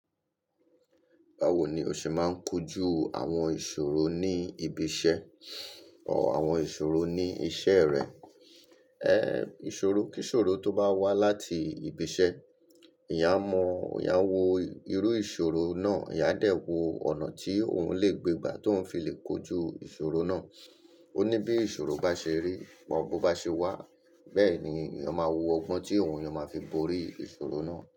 Báwo ni o ṣe máa ń kojú àwọn ìṣòro ní ibi iṣẹ́ ọ àwọn ìṣòro ní iṣẹ́ rẹ? Ẹ ìṣòro, kí ìṣòro tó bá wá láti ibi iṣẹ́, èèyàn a mọ̀, èèyàn a wo irú ìṣòro náà, èèyàn a dẹ̀ wo ọ̀nà tí òun lè gbé gbà tó ń fi lè kojú ìṣòro náà. Ó ní bí ìṣòro bá ṣe rí wọ̀ bó bá ṣe wá, bẹ́ẹ̀ ni èèyàn máa wo ọgbọ́n tí òun yá máa fi borí ìṣòro náà.